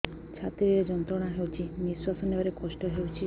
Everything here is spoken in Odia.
ଛାତି ରେ ଯନ୍ତ୍ରଣା ହେଉଛି ନିଶ୍ଵାସ ନେବାର କଷ୍ଟ ହେଉଛି